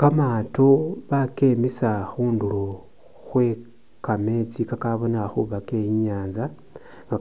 Kamaato bakemisa khundulo khwe kameetsi kakabonekha khuba ke i'nyaanza,